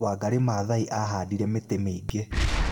Wangari Maathai aahaandire mĩtĩ mĩingĩ.